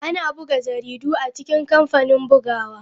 Ana buga jaridu a cikin kamfanin bugawa.